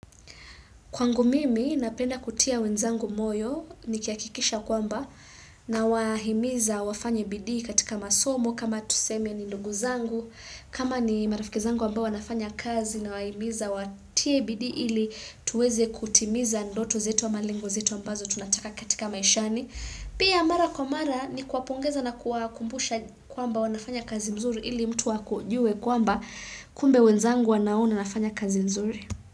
Kwangu mimi napenda kutia wenzangu moyo nikihakikisha kwamba nawahimiza wafanye bidii katika masomo kama tuseme ni ndugu zangu kama ni marafiki zangu ambao wanafanya kazi nawahimiza watie bidii ili tuweze kutimiza ndoto zetu ama lengo zetu ambazo tunataka katika maishani. Pia mara kwa mara ni kuwapongeza na kuwambusha kwamba wanafanya kazi nzuri ili mtu akujue kwamba kumbe wenzangu wanaona nafanya kazi mzuri.